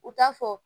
U t'a fɔ